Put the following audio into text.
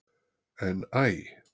En Æ!